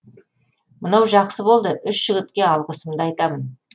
мынау жақсы болды үш жігітке алғысымды айтамын